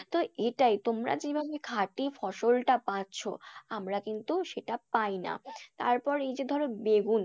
তো এটাই তোমরা যেভাবে খাঁটি ফসলটা পাচ্ছো, আমরা কিন্তু সেটা পাইনা। তারপর এইযে ধরো বেগুন,